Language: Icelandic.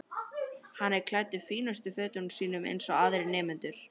Hann er klæddur fínustu fötunum sínum eins og aðrir nemendur.